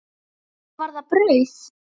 Eða var það brauð?